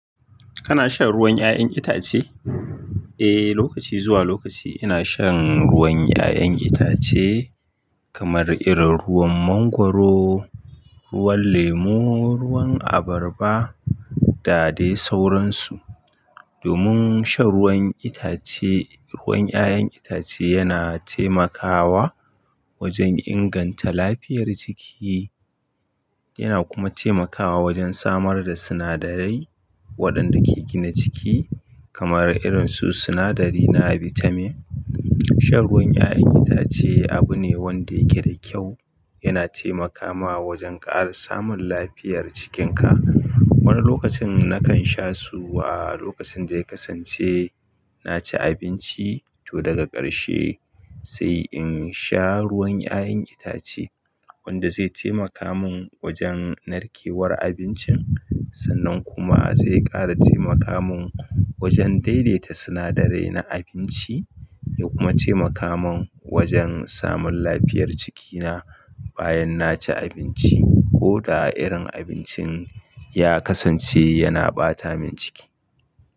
Kana shan ruwan 'ya'yan itace? Eh, lokaci zuwa lokaci ina shan ruwan 'ya'yan itace kamar irin ruwan mangwaro, ruwan lemu, ruwan abarba da dai sauransu. Domin shan ruwan itace, ruwan ‘ya’yan itace yana taimakawa wajen inganta lafiyar jiki, yana kuma taimakawa wajen samar da sinadarai waɗanda ke gina jiki kamar irin su sinadari na bitamin. Shan ruwan 'ya'yan itace abu ne wanda yake da kyau, yana taimakawa wajen ƙara samun lafiyar jikinka. Wani lokacin nakan sha su a lokacin da ya kasance na ci abinci ko daga ƙarshe sai in sha ruwan 'ya'yan itace wanda zai taimaka mun wajen narkewar abincin sannan kuma zai ƙara taimaka mun wajen daidaita sinadarai na abinci ya kuma taimaka mun wajen samun lafiyar jikina bayan na ci abinci ko da irin abincin ya kasance yana ɓata min ciki.